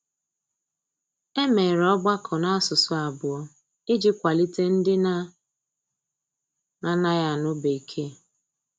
E mere ọgbakọ n'asụsụ abụọ iji kwalite ndị na - anaghị anụ bekee.